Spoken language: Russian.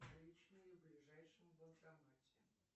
наличные в ближайшем банкомате